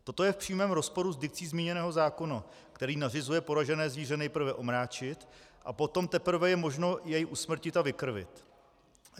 Toto je v přímém rozporu s dikcí zmíněného zákona, který nařizuje poražené zvíře nejprve omráčit, a potom teprve je možno jej usmrtit a vykrvit.